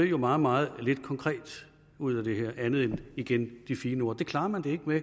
jo meget meget lidt konkret ud af det her andet end igen de fine ord det klarer man det ikke med